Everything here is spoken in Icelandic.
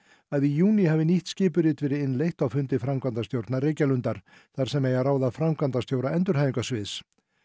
að í júní hafi nýtt skipurit hafi verið innleitt á fundi framkvæmdastjórnar Reykjalundar þar sem eigi að ráða framkvæmdastjóra endurhæfingarsviðs